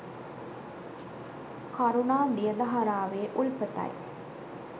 කරුණා දිය දහරාවේ උල්පතයි.